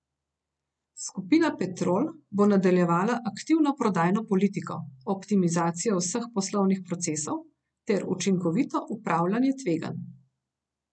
Skupina Petrol bo nadaljevala aktivno prodajno politiko, optimizacijo vseh poslovnih procesov ter učinkovito upravljanje tveganj.